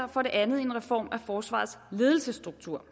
og for det andet en reform af forsvarets ledelsesstruktur